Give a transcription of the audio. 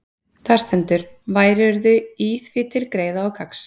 Þar stendur: Værirðu í því til greiða og gagns,